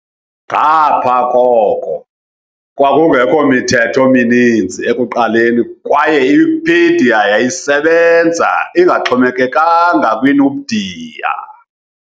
Ngapha koko, kwakungekho mithetho mininzi ekuqaleni kwaye iWikipedia yayisebenza ingaxhomekekanga kwiNupedia.